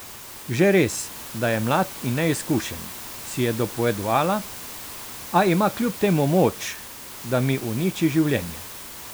Že res, da je mlad in neizkušen, si je dopovedovala, a ima kljub temu moč, da mi uniči življenje.